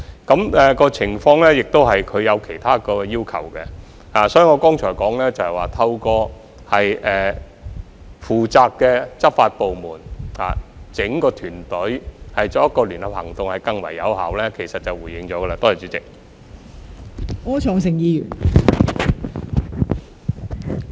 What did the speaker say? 引用這項條例亦涉及其他要求，所以我剛才說，透過負責的執法部門，由整個團隊採取聯合行動更為有效，便已回應了陳議員的補充質詢。